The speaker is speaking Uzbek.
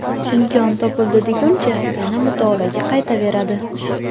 imkon topildi deguncha yana mutolaaga qaytaveradi.